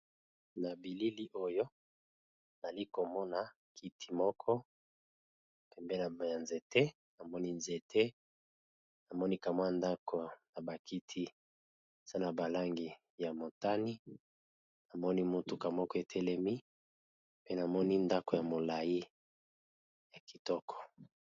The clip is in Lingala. Na bilili oyo nali komona kiti moko pembeni ya nzete, namoni nzete namoni kamwa ndako na ba kiti zana ba langi ya motani namoni motuka moko etelemi pe namoni ndako ya molayi ya kitoko.